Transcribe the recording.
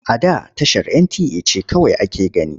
A da tashar NTA ce kawai ake gani.